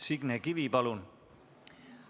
Signe Kivi, palun!